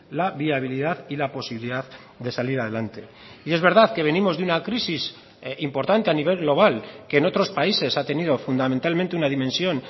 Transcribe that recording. la viabilidad y la posibilidad de salir adelante y es verdad que venimos de una crisis importante a nivel global que en otros países ha tenido fundamentalmente una dimensión